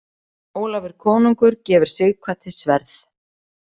Ólafur konungur gefur Sighvati sverð.